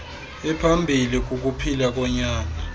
ephambilli kukuphila konyana